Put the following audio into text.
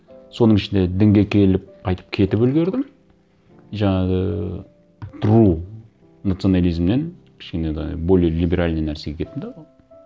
соның ішінде дінге келіп қайтып кетіп үлгердім жаңағы национализмнен кішкене енді более либеральный нәрсеге кеттім де